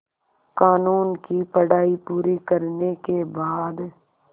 क़ानून की पढा़ई पूरी करने के बाद